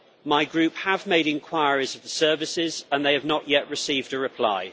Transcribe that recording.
My Group have made inquiries with the services, and they have not yet received a reply.